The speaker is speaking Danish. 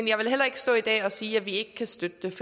jeg vil heller ikke stå i dag og sige at vi ikke kan støtte